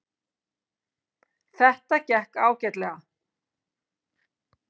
Þetta gekk ágætlega.